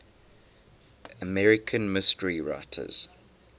american mystery writers